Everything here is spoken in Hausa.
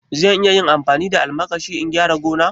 Zan iya amfani da almakashi in gyara gona?